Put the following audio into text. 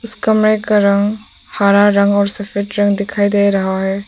इस कमरे का रंग हरा रंग और सफेद रंग दिखाई दे रहा है।